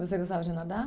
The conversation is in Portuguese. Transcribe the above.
Você gostava de nadar?